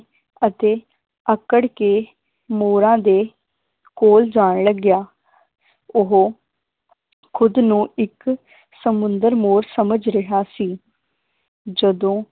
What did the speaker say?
ਅਤੇ ਆਕੜ ਕੇ ਮੋਰਾਂ ਦੇ ਕੋਲ ਜਾਣ ਲੱਗਿਆ ਉਹ ਖੁਦ ਨੂੰ ਇਕ ਸਮੁੰਦਰ ਮੋਰ ਸਮਝ ਰਿਹਾ ਸੀ ਜਦੋਂ